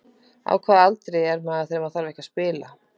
Á hvaða aldri er maður þegar maður þarf ekki að spila?